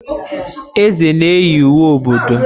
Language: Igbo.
eze nēyi uwe ododo